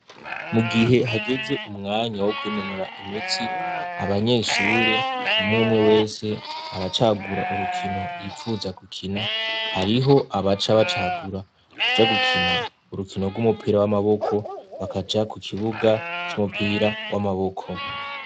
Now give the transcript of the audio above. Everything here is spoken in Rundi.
Mu gihe hageze umwanya wo kwinonora imitsi abanyeshure umumwe wese aracagura urukino yipfuza gukina hariho abaca bacagura kuca gukina urukino rw'umupira w'amaboko bakaca ku kibuga c'umupira w'amaboko.